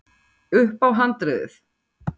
upp á handriðið.